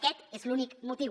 aquest és l’únic motiu